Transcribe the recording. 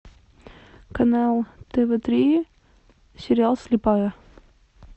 канал тв три сериал слепая